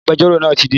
Agbẹjọ́rò náà ti dé